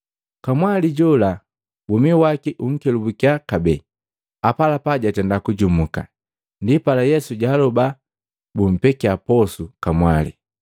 Kamwali jola womi waki unkelubukiya kabee, apalapa jatenda kujumuka. Ndipala Yesu jaaloba bumpekia posu kamwali.